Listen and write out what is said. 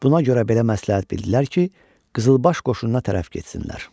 Buna görə belə məsləhət bildilər ki, Qızılbaş qoşununa tərəf getsinlər.